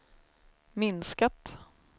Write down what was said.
minskat